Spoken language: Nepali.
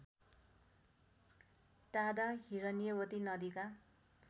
टाढा हिरण्यवती नदीका